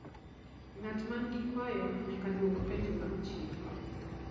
ngat man gi kwayo nyaka duok penjo mag chif